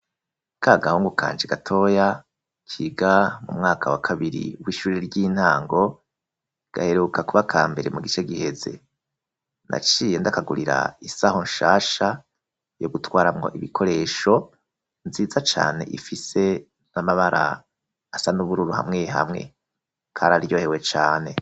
Ka gahungu kanje gatoya kiga mu mwaka wa kabiri w'ishure ry'intango gaheruka kuba ka mbere mu gice giheze naciye ndakagurira isaho nshasha yo gutwaramo ibikoresho nziza cane ifise n'amabara asa nubururu hamwe hamwe kararyohewe cane.